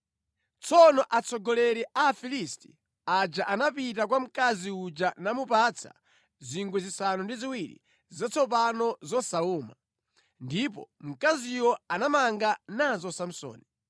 Tsono atsogoleri a Afilisti aja anapita kwa mkazi uja namupatsa zingwe zisanu ndi ziwiri zatsopano zosawuma, ndipo mkaziyo anamanga nazo Samsoni.